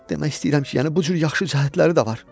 Demək istəyirəm ki, yəni bu cür yaxşı cəhətləri də var.